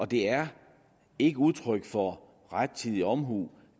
det er ikke udtryk for rettidig omhu